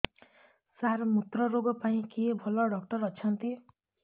ସାର ମୁତ୍ରରୋଗ ପାଇଁ କିଏ ଭଲ ଡକ୍ଟର ଅଛନ୍ତି